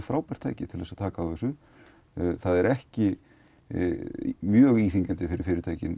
frábært tæki til að taka á þessu það er ekki mjög íþyngjandi fyrir fyrirtæki